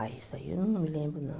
Ah, isso aí eu não me lembro, não.